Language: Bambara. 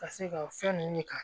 Ka se ka fɛn nunnu ka